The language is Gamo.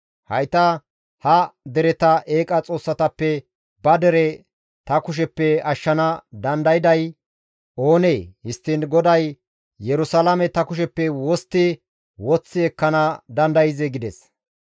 Hayta ha dereta eeqa xoossatappe ba dere ta kusheppe ashshana dandayday oonee? Histtiin GODAY Yerusalaame ta kusheppe wostti woththi ekkana dandayzee?» gides.